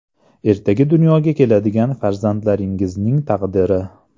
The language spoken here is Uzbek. Ertaga dunyoga keladigan farzandlaringizning taqdiri.